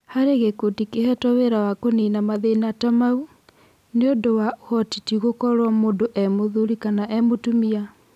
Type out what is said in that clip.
Harĩ gĩkundi kĩhetwo wĩra wa kũnina mathĩna ta mau, nĩũndũ wa ũhoti ti gũkorwo mũndũ e-mũthuri kana e-mũtumia.